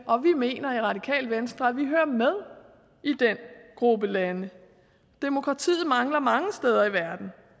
og vi mener i radikale venstre at vi hører med i den gruppe lande demokratiet mangler mange steder i verden